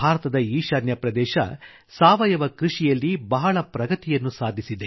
ಭಾರತದ ಈಶಾನ್ಯ ಪ್ರದೇಶ ಸಾವಯವ ಕೃಷಿಯಲ್ಲಿ ಬಹಳ ಪ್ರಗತಿಯನ್ನು ಸಾಧಿಸಿದೆ